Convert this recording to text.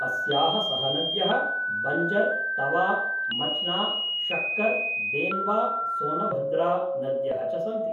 अस्याः सहनद्यः बञ्जर, तवा, मच्ना, शक्कर्, देन्वा, सोनभद्रा नद्यः च सन्ति।